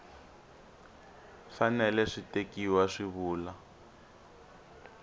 fanele swi tekiwa swi vula